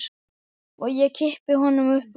Og ég kippi honum upp úr.